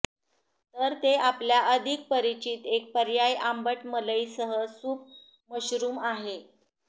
तर ते आपल्या अधिक परिचित एक पर्याय आंबट मलई सह सूप मशरूम आहे